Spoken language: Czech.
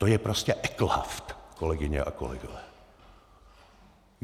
To je prostě eklhaft, kolegyně a kolegové!